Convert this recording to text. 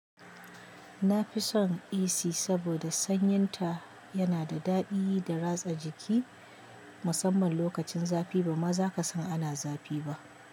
Na fi son AC saboda sanyin ta yana da daɗi da ratsa jiki, musamman lokacin zafi ba ma za ka san ana zafi ba.